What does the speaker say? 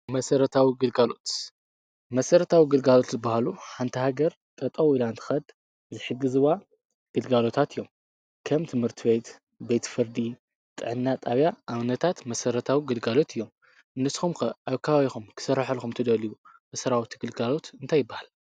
መሠረታዊ ግልጋሎት፡-መሠረታዊ ግልጋሎት ዝበሃሉ ሓንቲ ሃገር ጠጠው ኢላ ንኽትኸድ ዝሕግዝዋ ግልጋሎታት እዮም፡፡ ከም ትምህርቲ ሀ፡ ቤትፍርዲ፣ ጥዕና ጣብያ ኣብነታት መሠረታዊ ግልጋሎት እዮም፡፡ ንስኹም ከ ከባቢኹም ክስረሓልኹም ትደልዩ መሠራዊ ግልጋሎት እንታይ ይበሃል?